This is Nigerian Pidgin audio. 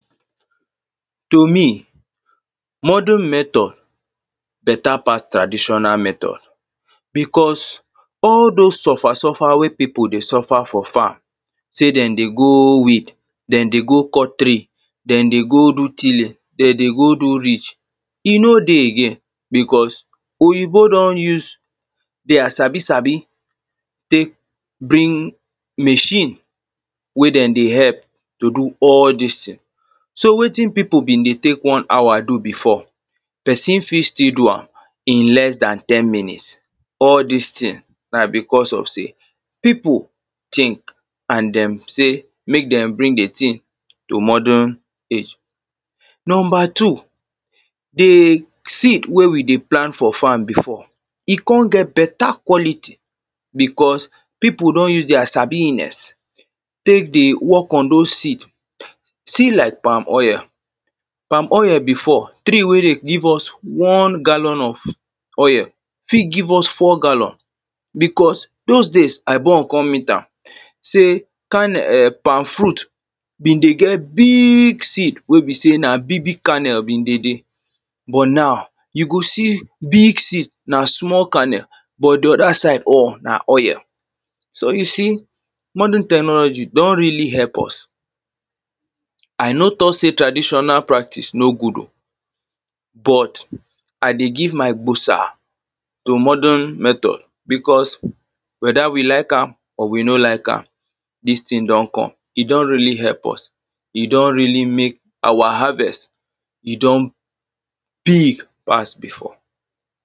To me modern method better pass traditional method, because, all those suffer suffer wey people dey suffer for farm, say them dey go weed, them dey go country, them dey go tilling, them dey go ridge, e no dey again, because, oyinbo don use their sabi, sabi take bring machine wey them dey help to do all these thing. so, wetin people be dey take one hour do before, person fit still do am in less than ten minutes, all these thing na because of say people think and them say make them bring a thing to modern age. number two, the seed wey we dey plant for farm before, e come get better quality because people don use their sabiness take dey work on those seed, seed like palm oil, palm oil before, tree wey dey give us one gallon of oil, fit give us four gallon, because those days I grow up come meet am say kernel, um, palm fruit be dey get big seed wey be say na big big kernel, but now, you go see big seed na small kernel, but the other side or na oil, so, you see, modern technology don really help us. I no talk say traditional practice no good o, but I dey give my gbosa to modern method because whether we like am or we no like am, this thing don come, e don really help us, e don really make our harvest, e don big pass before.